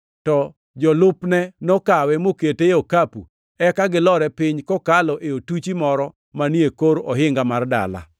to jolupne nokawe mokete e okapu, eka gilore piny kokalo e otuchi moro manie kor ohinga mar dala.